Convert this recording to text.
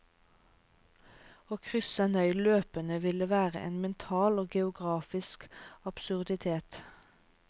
Å krysse en øy løpende ville være en mental og geografisk absurditet.